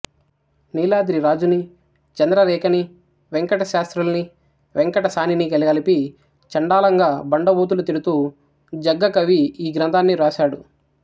నీలాద్రి రాజునీ చంద్రరేఖనీ వేంకటశాస్త్రుల్నీ వేంకట సానినీ గలగలిపి చండాలంగా బండబూతులు తిడుతూ జగ్గకవి ఈ గ్రంథాన్ని రాసాడు